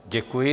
Děkuji.